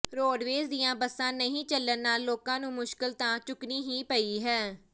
roadways ਦੀਆਂ ਬਸਾਂ ਨਹੀਂ ਚਲਣ ਨਾਲ ਲੋਕਾਂ ਨੂੰ ਮੁਸ਼ਕਿਲ ਤਾਂ ਚੁਕਣੀ ਹੀ ਪਈ ਹੈ